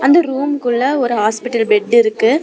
அந்த ரூமுக்குள்ள ஒரு ஹாஸ்பிட்டல் பெட்டு இருக்கு.